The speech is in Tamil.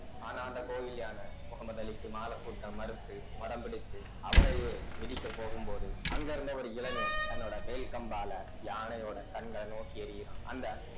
ஆனா அந்த கோவில் யானை முகமது அலிக்கு மாலைப் பூட்ட மறுத்து மதம் பிடித்து அவரையே மிதிக்க போகும்போது அங்கிருந்த ஒரு இளைஞன் தன்னோட வேல் கம்பால யானையோட கண்ணை நோக்கி எறிகிறான் அந்த